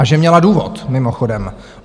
A že měla důvod, mimochodem.